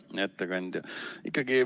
Hea ettekandja!